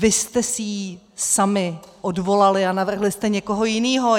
Vy jste si ji sami odvolali a navrhli jste někoho jiného.